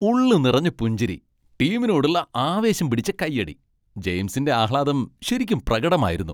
ഉള്ളു നിറഞ്ഞ പുഞ്ചിരി, ടീമിനോടുള്ള ആവേശം പിടിച്ച കയ്യടി, ജെയിംസിന്റെ ആഹ്ലാദം ശരിക്കും പ്രകടമായിരുന്നു.